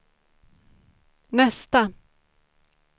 nästa